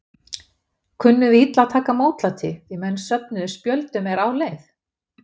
Kunnum við illa að taka mótlæti, því menn söfnuðu spjöldum er á leið?